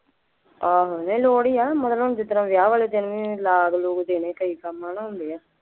ਆਹੋ ਨਹੀਂ ਲੋੜ ਹੀ ਹੈ, ਮਤਲਬ ਹੁਣ ਜਿਸ ਤਰ੍ਹਾ ਵਿਆਹ ਵਾਲੇ ਦਿਨ ਲਾਗ ਲੂਗ ਦੇਣੇ ਕਈ ਕੰਮ ਹੈ ਨਾ ਹੁੰਦੇ ਹੈ